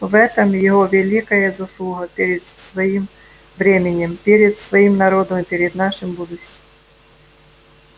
в этом его великая заслуга перед своим временем перед своим народом и перед нашим будущим